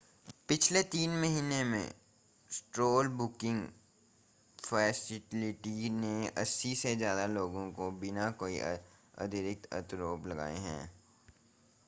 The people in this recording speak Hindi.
पिछले 3 महीनों में सेंट्रल बुकिंग फ़ेसिलिटी ने 80 से ज़्यादा लोगों को बिना कोई आधिकारिक आरोप लगाए रिहा कर दिया